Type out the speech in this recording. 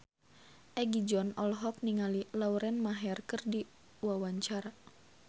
Egi John olohok ningali Lauren Maher keur diwawancara